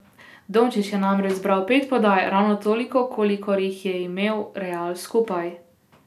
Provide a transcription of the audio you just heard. Dončić je namreč zbral pet podaj, ravno toliko, kolikor jih je imel Real skupaj!